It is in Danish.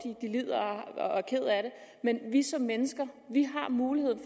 men vi som mennesker har muligheden